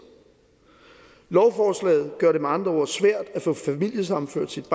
lovforslaget gør det med andre ord svært at få familiesammenført sit